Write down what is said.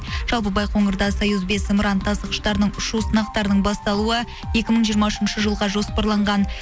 жалпы байқоңырда союз бес зымыран тасығыштарының ұшу сынақтарының басталуы екі мың жиырма үшінші жылға жоспарланған